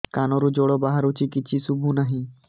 କାନରୁ ଜଳ ବାହାରୁଛି କିଛି ଶୁଭୁ ନାହିଁ